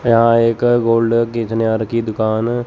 यहां एक गोल्ड की दुकान।